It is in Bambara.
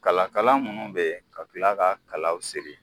Kala kala minnu bɛ yen ka kila ka kalaw siri